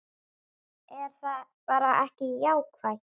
Er það bara ekki jákvætt?